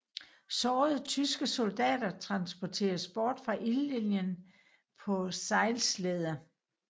Sårede tyske soldater transporteres bort fra ildlinien på sejlslæder